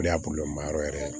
O de y'a yɔrɔ yɛrɛ ye